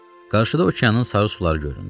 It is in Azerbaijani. Qarşıda okeanın sarı suları göründü.